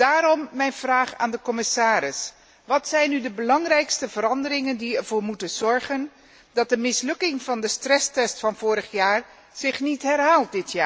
Daarom mijn vraag aan de commissaris wat zijn nu de belangrijkste veranderingen die ervoor moeten zorgen dat de mislukking van de stresstest van vorig jaar zich dit jaar niet herhaalt?